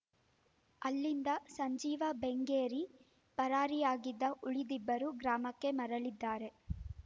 ಅಲ್ಲಿಂದ ಸಂಜೀವ ಬೆಂಗೇರಿ ಪರಾರಿಯಾಗಿದ್ದು ಉಳಿದಿಬ್ಬರು ಗ್ರಾಮಕ್ಕೆ ಮರಳಿದ್ದಾರೆ